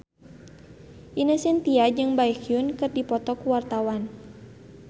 Ine Shintya jeung Baekhyun keur dipoto ku wartawan